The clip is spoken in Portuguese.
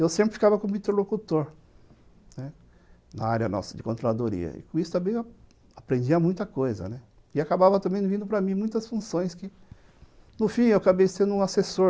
Eu sempre ficava como interlocutor, né, na área nossa de controladoria, e com isso também eu aprendia muita coisa, né, e acabava também vindo para mim muitas funções que, no fim, eu acabei sendo um assessor